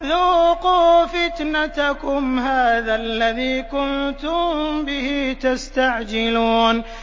ذُوقُوا فِتْنَتَكُمْ هَٰذَا الَّذِي كُنتُم بِهِ تَسْتَعْجِلُونَ